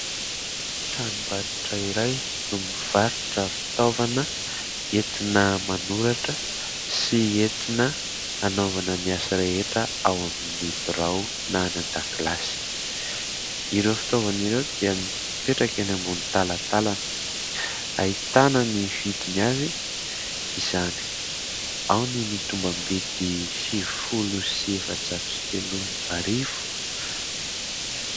Tranom_barotra iray no mivarotra fitaovana entina manoratra sy entina hanaovana ny asa rehetra ao amin'ny birao na any an_dakilasy. Ireo fitaovana ireo dia mipetraka eny ambony talatalana. Ahitana ny vidiny avy izany. Ao ny tombam_bidy : sivy folo sy efa_jato sy telo arivo...